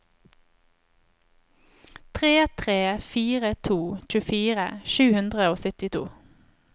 tre tre fire to tjuefire sju hundre og syttito